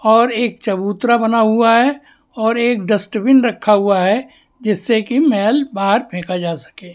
और एक चबूतरा बना हुआ है और एक डस्टबिन रखा हुआ है जिससे कि मैल बाहर फेंका जा सके--